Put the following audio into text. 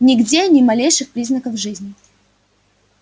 нигде ни малейших признаков жизни